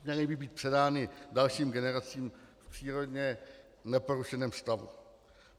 Měly by být předány dalším generacím v přírodně neporušeném stavu.